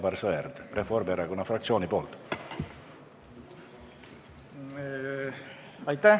Palun, Aivar Sõerd Reformierakonna fraktsiooni nimel!